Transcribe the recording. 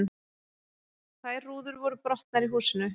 Tvær rúður voru brotnar í húsinu